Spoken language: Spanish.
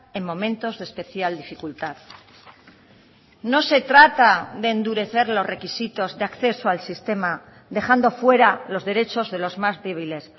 en momentos de especial dificultad no se trata de endurecer los requisitos de acceso al sistema dejando fuera los derechos de los más débiles